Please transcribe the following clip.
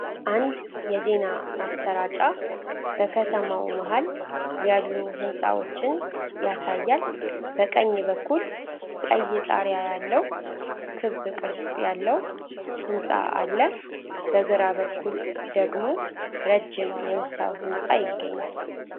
አንድ የዜና ማሰራጫ በከተማው መሃል ያሉ ሕንፃዎችን ያሳያል። በቀኝ በኩል ቀይ ጣሪያ ያለው ክብ ቅርጽ ያለው ሕንፃ አለ። በግራ በኩል ደግሞ ረጅም የመስታወት ሕንፃ ይገኛል።